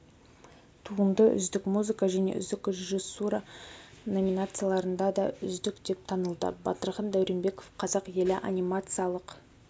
туынды үздік музыка және үздік режиссура номинацияларында да үздік деп танылды батырхан дәуренбеков қазақ елі анимациялық